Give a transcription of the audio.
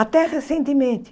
Até recentemente.